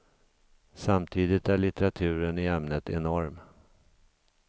Samtidigt är litteraturen i ämnet enorm.